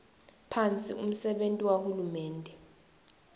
phasi umsebenti wahulumende